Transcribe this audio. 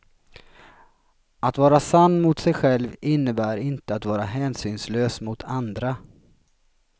Att vara sann mot sig själv innebär inte att vara hänsynslös mot andra.